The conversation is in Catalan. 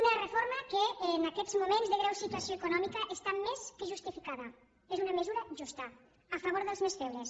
una reforma que en aquests moments de greu situació econòmica està més que justificada és una mesura justa a favor dels més febles